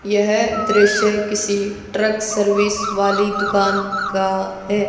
यह दृश्य किसी ट्रक सर्विस वाली दुकान का है।